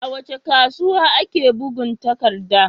A wace kasuwa ake bugun takadda?